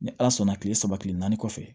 Ni ala sɔnna kile saba kile naani kɔfɛ